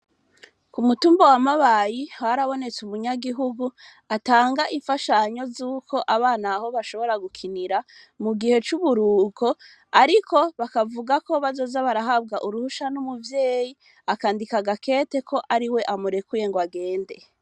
Ku mutumba wa mabayi harabonetse umunyagihugu atanga imfashanyo z'uko abana ho bashobora gukinira mu gihe c'uburuko, ariko bakavuga ko bazoza barahabwa uruhusha n'umuvyeyi akandika agakete ko ari we amurekuye ngo agende.